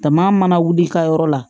Dama mana wuli i ka yɔrɔ la